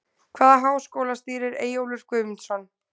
Hvaða háskóla stýrir Eyjólfur Guðmundsson?